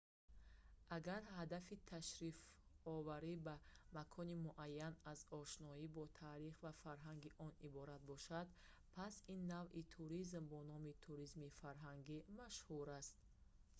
агар ҳадафи ташрифоварӣ ба макони муайян аз ошноӣ бо таърих ва фарҳанги он иборат бошад пас ин навъи туризм бо номи туризми фарҳангӣ машҳур аст